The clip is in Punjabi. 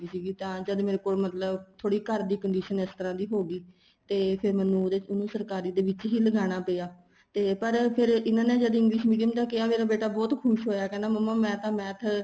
ਸੀਗੀ ਤਾਂ ਜਦ ਮੇਰੇ ਕੋਲ ਮਤਲਬ ਥੋੜੀ ਘਰ ਦੀ condition ਇਸ ਤਰ੍ਹਾਂ ਦੀ ਹੋਗੀ ਤੇ ਫ਼ੇਰ ਮੈਨੂੰ ਉਹਨੂੰ ਸਰਕਾਰੀ ਦੇ ਲਗਾਣਾ ਪਇਆ ਤੇ ਪਰ ਫ਼ੇਰ ਇਹਨਾ ਨੇ ਜਦ English Medium ਦਾ ਕਹਿਆ ਤਾਂ ਮੇਰਾ ਬੇਟਾ ਬਹੁਤ ਖ਼ੁਸ਼ ਹੋਇਆ ਕਹਿੰਦਾ ਮੰਮਾ ਮੈਂ ਤਾਂ math